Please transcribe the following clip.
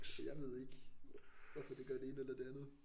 Jeg ved ikke hvorfor det gør det ene eller det andet